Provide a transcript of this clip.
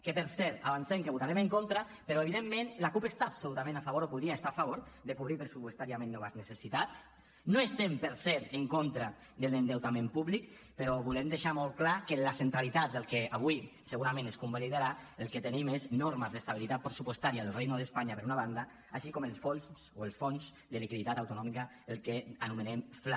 que per cert avancem que hi votarem en contra però evidentment la cup està absolutament a favor o podria estar a favor de cobrir pressupostàriament noves necessitats no estem per cert en contra de l’endeutament públic però volem deixar molt clar que en la centralitat del que avui segurament es convalidarà el que tenim són normes d’estabilitat pressupostària del reino de españa per una banda així com els fons o el fons de liquiditat autonòmica el que anomenem fla